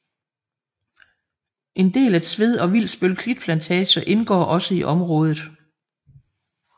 En del af Tved og Vilsbøl Klitplantager indgår også i området